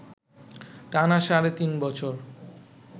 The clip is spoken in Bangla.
টানা সাড়ে তিন বছর